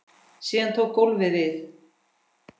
Síðan tók golfið við.